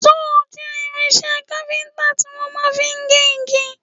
Sọ́ọ̀ jẹ́ irinṣẹ́ kápíntà tí wọ́n máa fi ń gé igi